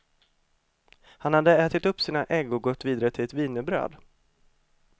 Han hade ätit upp sina ägg och gått vidare till ett wienerbröd.